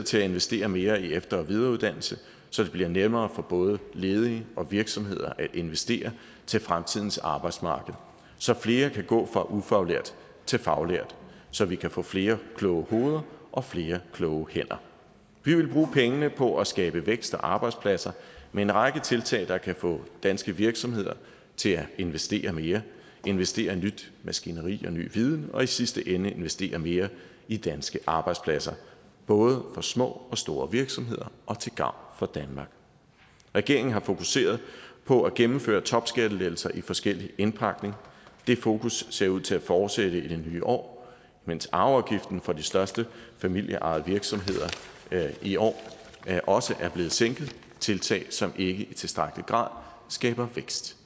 til at investere mere i efter og videreuddannelse så det bliver nemmere for både ledige og virksomheder at investere til fremtidens arbejdsmarked så flere kan gå fra ufaglært til faglært så vi kan få flere kloge hoveder og flere kloge hænder vi ville bruge pengene på at skabe vækst og arbejdspladser med en række tiltag der kan få danske virksomheder til at investere mere investere i nyt maskineri og ny viden og i sidste ende investere mere i danske arbejdspladser både for små og store virksomheder og til gavn for danmark regeringen har fokuseret på at gennemføre topskattelettelser i forskellig indpakning det fokus ser ud til at fortsætte i det nye år mens arveafgiften for de største familieejede virksomheder i år også er blevet sænket det tiltag som ikke i tilstrækkelig grad skaber vækst